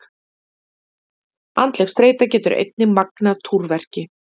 Andleg streita getur einnig magnað túrverki.